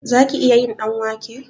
Zaki iya yin ɗanwake?